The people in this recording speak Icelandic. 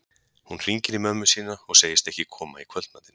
Hún hringir í mömmu sína og segist ekki koma í kvöldmatinn.